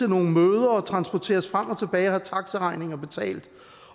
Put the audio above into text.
nogle møder og transporteres frem og tilbage og taxaregninger betalt